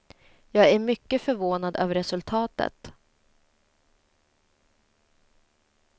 Jag är mycket förvånad över resultatet.